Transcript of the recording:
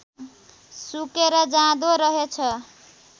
सुकेर जाँदो रहेछ